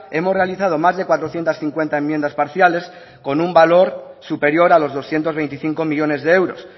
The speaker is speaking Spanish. hemos realizado más de cuatrocientos cincuenta enmiendas parciales con un valor superior a los doscientos veinticinco millónes de euros